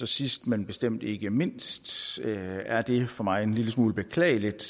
sidst men bestemt ikke mindst er det for mig en lille smule beklageligt